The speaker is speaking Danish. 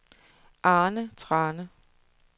Arne Thrane